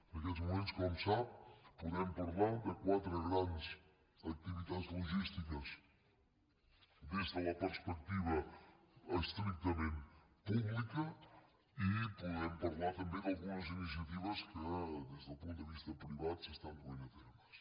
en aquests moments com sap podem parlar de quatre grans activitats logístiques des de la perspectiva estrictament pública i podem parlar també d’algunes iniciatives que des del punt de vista privat s’estan duent a terme